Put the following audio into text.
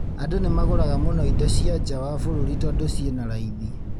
Andũ nĩmagũraga mũno indo cia nja wa bũrũri tondu ciina raithi